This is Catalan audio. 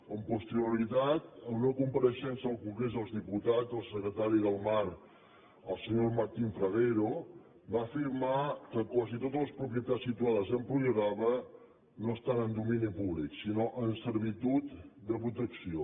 amb posterioritat en una compareixença al congrés dels diputats el secretari del mar el senyor martín fragueiro va afirmar que quasi totes les propietats situades a empuriabrava no estan en domini públic sinó en servitud de protecció